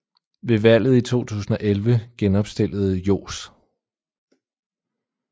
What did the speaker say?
Ved valget i 2011 genopstillede Johs